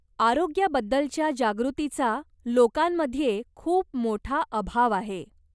आरोग्याबद्दलच्या जागृतीचा लोकांमध्ये खूप मोठा अभाव आहे.